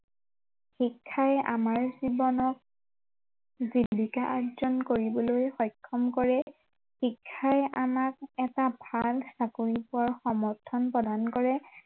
শিক্ষাই আমাৰ জীৱনক জীৱিকা আৰ্জন কৰিবলৈ সক্ষম কৰে, শিক্ষাই আমাক এটা ভাল চাকৰি পোৱাৰ সমৰ্থন প্ৰদান কৰে